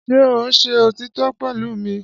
Ṣé ò ń ṣe òtítọ́ pẹ̀lú mi?